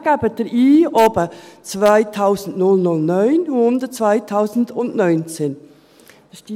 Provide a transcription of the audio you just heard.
Dann geben Sie oben 2009 ein, unten 2019.